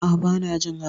A'a, ban jin haka.